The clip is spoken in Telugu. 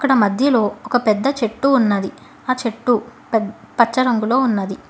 అక్కడ మధ్యలో ఒక పెద్ద చెట్టు ఉన్నది ఆ చెట్టు పెద్ పచ్చ రంగులో ఉన్నది.